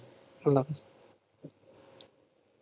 আল্লাহ হাফেজ